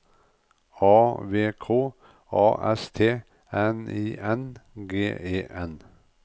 A V K A S T N I N G E N